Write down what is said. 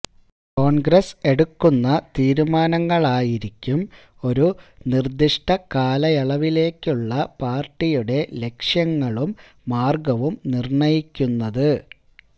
കോൺഗ്രസ്സ് എടുക്കുന്ന തീരുമാനങ്ങളായിരിക്കും ഒരു നിർദ്ദിഷ്ട കാലയളവിലേക്കുള്ള പാർട്ടിയുടെ ലക്ഷ്യങ്ങളും മാർഗ്ഗവും നിർണ്ണയിക്കുന്നത്